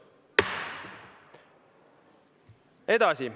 Läheme edasi.